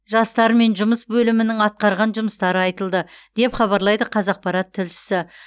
жастармен жұмыс бөлімінің атқарған жұмыстары айтылды деп хабарлайды қазақпарат тілшісі